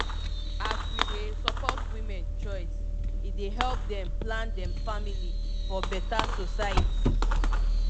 as we dey support women choice e dey help dem plan dem family for beta society